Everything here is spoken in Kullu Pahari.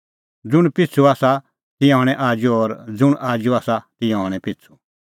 ज़ुंण पिछ़ू आसा तिंयां हणैं आजू और ज़ुंण आजू आसा तिंयां हणैं पिछ़ू